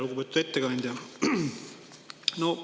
Lugupeetud ettekandja!